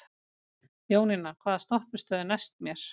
Jónína, hvaða stoppistöð er næst mér?